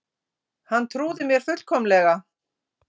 Hann trúði mér fullkomlega.